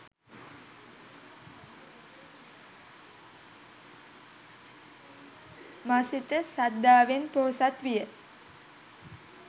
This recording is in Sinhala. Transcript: මසිත ශ්‍රද්ධාවෙන් පොහොසත් විය.